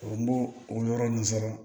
N b'o o yɔrɔ nunnu sɔrɔ